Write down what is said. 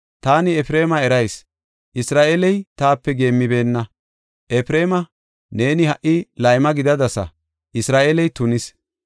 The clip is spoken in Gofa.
Taani Efreema erayis; Isra7eeley taape geemmibeenna. Efreema, neeni ha77i layma gidadasa; Isra7eeley tunis.”